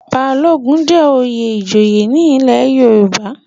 Balogun jẹ́ oyè ìjòyè ní ilé Yorùbá.